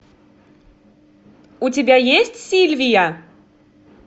у тебя есть сильвия